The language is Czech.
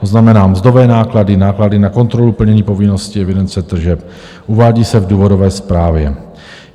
To znamená, mzdové náklady, náklady na kontrolu plnění povinnosti evidence tržeb, uvádí se v důvodové zprávě.